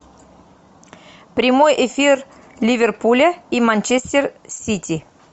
прямой эфир ливерпуля и манчестер сити